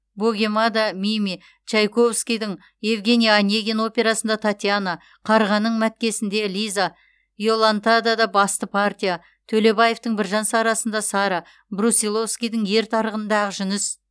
богемада мими чайковскийдің евгений онегин операсында татьяна қарғаның мәткесінде лиза иолантада басты партия төлебаевтың біржан сарасында сара брусиловскийдің ер тарғынында ақжүніс